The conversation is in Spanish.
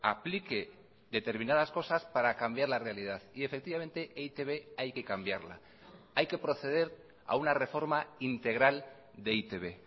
aplique determinadas cosas para cambiar la realidad y efectivamente e i te be hay que cambiarla hay que proceder a una reforma integral de e i te be